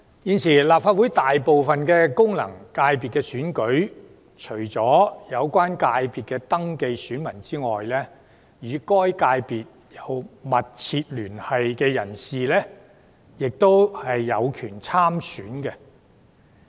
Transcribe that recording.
現時立法會大部分功能界別選舉中，除所屬界別的已登記選民外，與該界別有密切聯繫的人士亦有權參選。